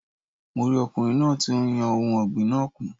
Mo rí ọkùnrin náà ti n yọ ohun ọ̀gbìn náà kùn